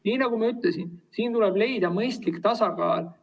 Nii nagu ma ütlesin, siin tuleb leida mõistlik tasakaal.